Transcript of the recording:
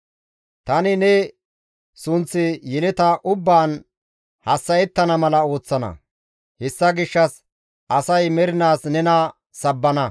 Tani ne sunththi yeleta ubbaan hassa7ettana mala ooththana. Hessa gishshas asay mernaas nena sabbana.